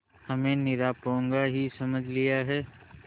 हमें निरा पोंगा ही समझ लिया है